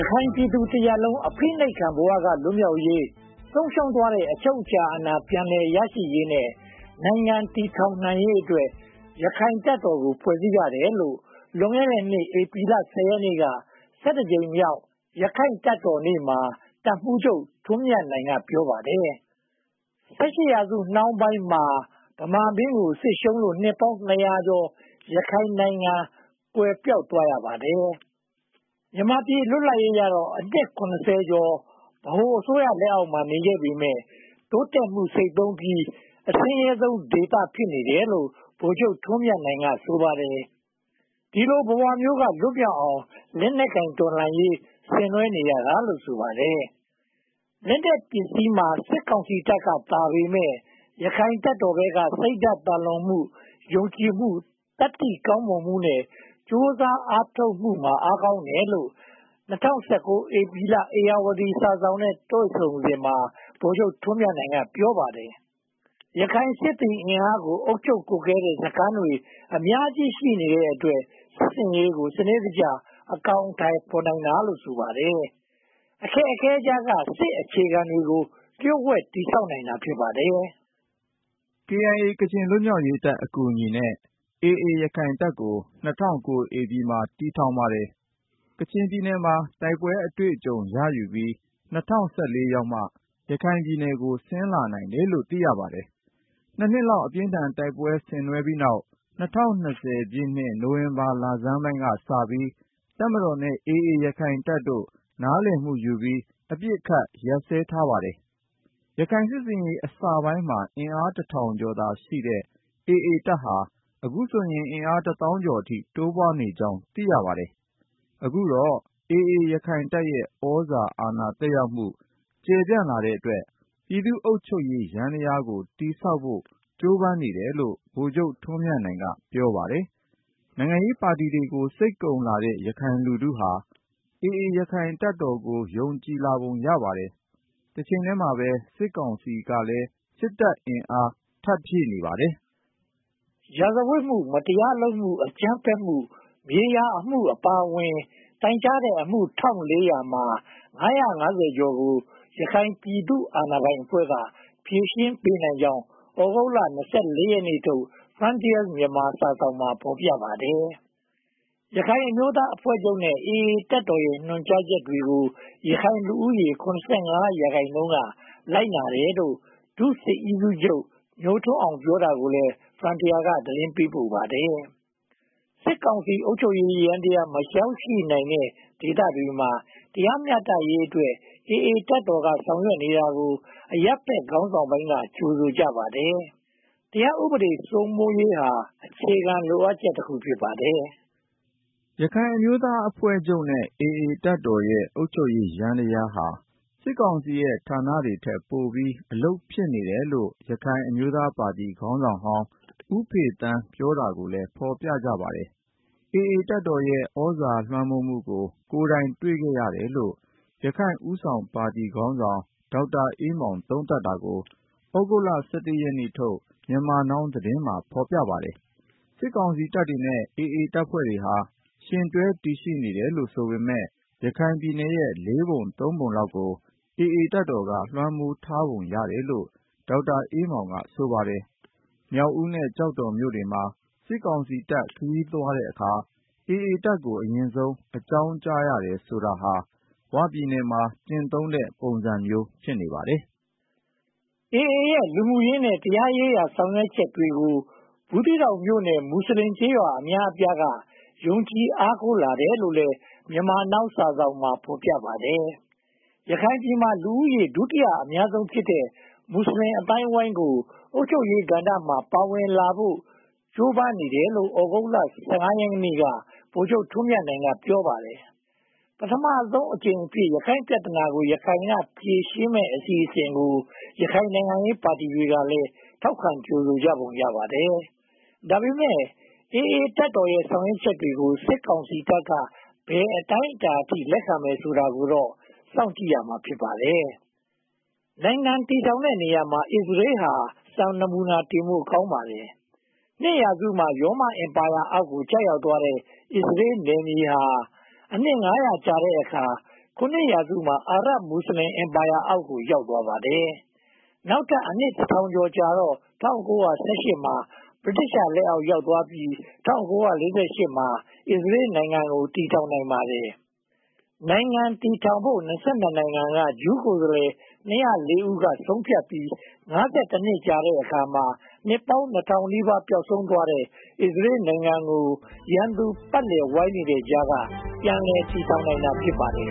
ခိုင်ပြည်သူတရပ်လုံး အဖိနှိပ်ခံဘဝ လွတ်မြောက်ရေး၊ ဆုံးရှုံးသွားတဲ့ အချုပ်အချာအာဏာ ပြန်လည်ရရှိရေးနဲ့ နိုင်ငံတည်ထောင်ရေးအတွက် ရခိုင့်တပ်တော်ကို ဖွဲ့စည်းရတယ်လို့ လွန်ခဲ့တဲ့နှစ် ဧပြီလ ရက်နေ့က ကြိမ်မြောက် ရခိုင့်တပ်တော်နေ့မှာ တပ်မှူးချုပ် ထွန်းမြတ်နိုင်က ပြောပါတယ်။ ၁၈ ရာစုနှောင်းပိုင်း မှာ ဗမာမင်းကို စစ်ရှုံးလို့ နှစ်ပေါင်းနှစ်ရာကျော် ရခိုင်နိုင်ငံ ကွယ်ပျောက်သွားရပါတယ်။ မြန်မာပြည် လွတ်လပ်တော့ အနှစ် ကျော် ဗဟိုအစိုးရ လက်အောက်မှာ နေခဲ့ပေမယ့် တိုးတက်မှု ဆိတ်သုဉ်းပြီး အဆင်းရဲဆုံးဒေသ ဖြစ်နေတယ်လို့ ဗိုလ်ချုပ်ထွန်းမြတ်နိုင် ဆိုပါတယ်။ ဒီလိုဘဝမျိုးကနေ လွတ်မြောက်အောင် လက်နက်ကိုင်တော်လှန်ရေး ဆင်နွှဲနေရတာလို့ ဆိုပါတယ်။ လက်နက်ပစ္စည်းမှာ စစ်ကောင်စီတပ်ကသာပေမယ့်၊ ရခိုင်တပ်တော်ဘက်က စိတ်ဓါတ်သာလွန်မှု၊ ယုံကြည်မှု၊ သတ္တိကောင်းမွန်မှုနဲ့ ကြိုးစားအားထုတ်မှုမှာ အားကောင်းတယ်လို့ ၂၀၁၉ ဧပြီလက ဧရာဝတီစာစောင်နဲ့ တွေ့ဆုံစဉ် ဗိုလ်ချုပ်ထွန်းမြတ်နိုင်က ပြောပါတယ်။ ရခိုင်စစ်သည်အင်အားကို အုပ်ချုပ်ကွပ်ကဲတဲ့ စစ်စခန်းတွေ အများကြီးရှိတဲ့အတွက် စစ်ဆင်ရေးကို စနစ်တကျ အကောင်အထည်ဖော်နိုင်တာလို့လည်း ဆိုပါတယ်။ အခက်အခဲကြားက စစ်အခြေခံတွေကို လျှို့ဝှက်တည်ဆောက်နိုင်ပါတယ်။ KIA ကချင်လွတ်မြောက်ရေးတပ် အကူအညီနဲ့ AA ရခိုင်တပ်ကို ၂၀၀၉ ဧပြီလမှာ တည်ထောင်ခဲ့ပါတယ်။ ကချင်ပြည်နယ်မှာ တိုက်ပွဲအတွေ့အကြုံတွေ ရယူခဲ့ပြီး ၂၀၁၄ ရောက်မှ ရခိုင်ပြည်နယ်ကို ဆင်းလာနိုင်တယ်လို့ သိရပါတယ်။ နှစ်လောက် အပြင်းအထန် တိုက်ပွဲတွေ ဆင်နွှဲပြီးတဲ့နောက် ၂၀၂၀ နိုဝင်ဘာလဆန်းပိုင်းကစပြီး တပ်မတော်နဲ့ AA ရခိုင့်တပ်တော်တို့ နားလည်မှုယူပြီး အပစ်အခတ် ရပ်စဲထားပါတယ်။ ရခိုင်စစ်ဆင်ရေး အစပိုင်းမှာ အင်အား ကျော်သာရှိတဲ့ AA တပ်ဟာ အခုဆိုရင် အင်အား သောင်းကျော်အထိ တိုးပွားနေကြောင်း သိရပါတယ်။ အခုတော့ AA ရခိုင်တပ်ရဲ့ သြဇာအာဏာ သက်ရောက်မှု ကျယ်ပြန့်လာတဲ့အတွက် ပြည်သူ့အုပ်ချုပ်ရေးယန္တရားကို တည်ဆောက်ဖို့ ကြိုးပမ်းနေတယ်လို့ ဗိုလ်ချုပ်ထွန်းမြတ်နိုင်က ပြောပါတယ်။ နိုင်ငံရေးပါတီတွေ စိတ်ကုန်လာတဲ့ ရခိုင်လူထုဟာ AA ရခိုင်တပ်တော်ကို ယုံကြည်လာပုံ ရပါတယ်။ တချိန်တည်းမှာပဲ စစ်ကောင်စီကလည်း စစ်အင်အား ထပ်ဖြည့်နေပါတယ်။ ရာဇဝတ်မှု၊ မတရားလုပ်မှု၊ အကြမ်းဖက်မှု၊ မြေယာအမှုအပါအဝင် တိုင်းကြားတဲ့အမှု မှာ ကျော်ကို ရခိုင်ပြည်သူ့အာဏာပိုင်အဖွဲ့က ဖြေရှင်းပေးနိုင်ကြောင်း သြဂုတ်လ ရက်နေ့ထုတ် Frontier Myanmar စာစောင်မှာ ဖော်ပြပါတယ်။ ရခိုင်အမျိုးသားအဖွဲ့ချုပ်နဲ့ AA တပ်တော်တို့ရဲ့ ညွှန်ကြားချက်တွေကို ရခိုင်လူဦးရေ ရာခိုင်နှုန်းက လိုက်နာတယ်လို့ ဒုစစ်ဦးစီးချုပ်ညိုထွန်းအောင် ပြောတာကိုလည်း Frontier က သတင်းပေးပို့ပါတယ်။ စစ်ကောင်စီ အုပ်ချုပ်ရေးယန္တရား မရောက်ရှိနိုင်တဲ့ ဒေသတွေမှာ တရားမျှတရေးအတွက် AA တပ်တော်က ဆောင်ရွက်နေတာကို အရပ်ဘက်ခေါင်းဆောင်ပိုင်းက ကြိုဆိုကြပါတယ်။ တရားဥပဒေ စိုးမိုးရေးဟာ အခြေခံလိုအပ်ချက်တခု ဖြစ်ပါတယ်။ ရခိုင်အမျိုးသားအဖွဲ့ချုပ်နဲ့ AA တပ်တော်တို့ရဲ့ အုပ်ချုပ်ရေးယန္တရားဟာ စစ်ကောင်စီရဲ့ဌာနတွေထက်ပိုပြီး အလုပ်ဖြစ်နေတယ်လို့ ရခိုင်အမျိုးသားပါတီ ခေါင်းဆောင်ဟောင်း ဦးဖေသန်း ပြောတာကိုလည်း ဖော်ပြကြပါတယ်။ AA တပ်တော်ရဲ့ သြဇာလွှမ်းမိုးမှုကို ကိုယ်တိုင်တွေ့ခဲ့ရတယ်လို့ ရခိုင့်ဦးဆောင်ပါတီခေါင်းဆောင် ဒေါက်တာအေးမောင် သုံးသပ်တာကိုလည်း သြဂုတ်လ ရက်နေ့ထုတ် Myanmar Now သတင်းမှာ ဖော်ပြထားပါတယ်။ စစ်ကောင်စီတပ်တွေနဲ့ AA တပ်ဖွဲ့တွေဟာ ယှဉ်တွဲတည်ရှိနေတယ်လို့ ဒေါက်တာအေးမောင်က ဆိုပါတယ်။ မြောက်ဦးနဲ့ ကျောက်တော်မြို့နယ်မှာ စစ်ကောင်စီတပ်ခရီးသွားတဲ့အခါ AA တပ်ကို အရင်ဆုံး အကြောင်းကြားရတယ်ဆိုတာဟာ ‘ဝ’ပြည်နယ်မှာ ကျင့်သုံးတဲ့ ပုံစံမျိုး ဖြစ်နေပါတယ်။ AA ရဲ့ လူမှုရေးနဲ့ တရားရေးရာ ဆောင်ရွက်ချက်တွေကို ဘူးသီးတောင်မြို့နယ် မွတ်စလင်ကျေးရွာ အများအပြားက ယုံကြည်အားကိုးလာတယ်လို့လည်း Myanmar Now စာစောင်မှာ ဖော်ပြပါတယ်။ ရခိုင်ပြည်မှာ လူဦးရေ ဒုတိယအများဆုံးဖြစ်တဲ့ မွတ်စလင်အသိုင်းအဝိုင်းကို အုပ်ချုပ်ရေးကဏ္ဍမှာ ပါဝင်လာဖို့ ကြိုးပမ်းနေတယ်လို့လည်း သြဂုတ်လ ရက်နေ့က ဗိုလ်ချုပ်ထွန်းမြတ်နိုင်က ပြောပါတယ်။ ပထမဆုံးအကြိမ်အဖြစ် ရခိုင့်ပြဿနာကို ရခိုင်က ဖြေရှင်းမယ့် အစီအစဉ်ကို ရခိုင်နိုင်ငံရေးပါတီတွေကလည်း ထောက်ခံကြိုဆိုပုံ ရပါတယ်။ ဒါပေမဲ့ AA တပ်တော်ရဲ့ ဆောင်ရွက်ချက်တွေကို စစ်ကောင်စီတပ်က ဘယ်အတိုင်းအတာအထိ လက်ခံမယ်ဆိုတာကိုတော့ စောင့်ကြည့်ရမှာ ဖြစ်ပါတယ်။ နိုင်ငံတည်ထောင်တဲ့နေရာမှာ ‘အစ္စရေး’ ဟာ စံနမှုနာတင်ဖို့ ကောင်းပါတယ်။ နှစ်ရာစုမှာ ရောမအင်ပါရာအောက် ကျရောက်သွားခဲ့တဲ့ အစ္စရေးနယ်မြေဟာ အနှစ်ငါးရာကြာတဲ့အခါ ခုနှစ်ရာစုမှာ အာရပ်မွတ်စလင် အင်ပါရာလက်အောက် ရောက်သွားခဲ့ပါတယ်။ နောက်ထပ်အနှစ် ကျော်ကြာတော့ ၁၉၁၈ မှာ ဗြိတိသျှလက်အောက် ရောက်သွားခဲ့ပြီး ၁၉၄၈ ရောက်မှာ အစ္စရေးနိုင်ငံကို တည်ထောင်နိုင်ပါတယ်။ နိုင်ငံတည်ထောင်ဖို့ နိုင်ငံက ဂျူးကိုယ်စားလှယ် ဦးက ဆုံးဖြတ်ပြီး နှစ်အကြာမှာ နှစ်ပေါင်း နီးပါး ပျောက်ဆုံးသွားခဲ့တဲ့ အစ္စရေးနိုင်ငံကို ရန်သူပတ်လည်ဝိုင်းနေတဲ့ကြားက ပြန်လည်တည်ထောင်နိုင်တာ ဖြစ်ပါတယ်